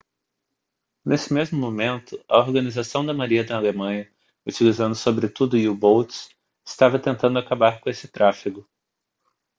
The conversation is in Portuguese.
nesse mesmo momento a organização da marinha da alemanha utilizando sobretudo u-boats estava tentando acabar com esse tráfego